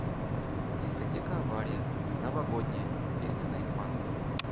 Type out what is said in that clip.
дискотека авария новогодняя песня на испанском